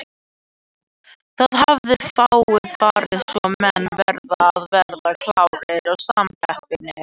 Það hafa fáir farið svo menn verða að vera klárir í samkeppni.